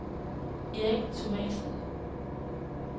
Erik Thomasen